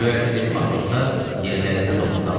Göyərtədəki matroslar yerlərində donub qalmışdılar.